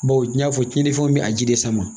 Bawo n'i y'a fɔ cɛnifɛnw be a ji de sama